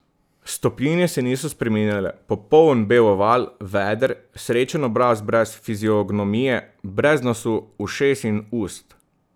Stopinje se niso spreminjale, popoln bel oval, veder, srečen obraz brez fiziognomije, brez nosu, ušes in ust.